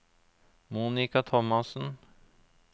Monica Thomassen